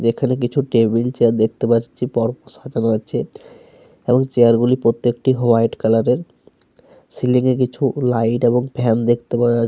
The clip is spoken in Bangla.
যেখানে কিছু টেবিল চেয়ার দেখতে পাচ্ছি পর সাজানো আছে। এবং চেয়ার গুলি প্রত্যেকটি হোয়াইট কালার এর। সিলিং -এ কিছু লাইট এবং ফ্যান দেখতে পাওয়া --